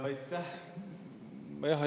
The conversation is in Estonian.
Aitäh!